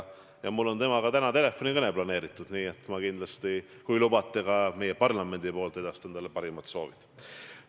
Mul on täna temaga telefonikõne planeeritud ja ma kindlasti, kui lubate, edastan ka meie parlamendi poolt talle parimad soovid.